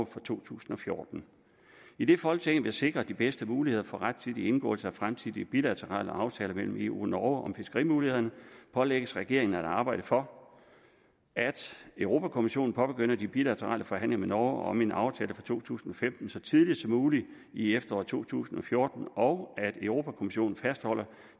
for to tusind og fjorten idet folketinget vil sikre de bedste muligheder for rettidig indgåelse af fremtidige bilaterale aftaler mellem eu og norge om fiskerimulighederne pålægges regeringen at arbejde for at europa kommissionen påbegynder de bilaterale forhandlinger med norge om en aftale for to tusind og femten så tidligt som muligt i efteråret to tusind og fjorten og at europa kommissionen fastholder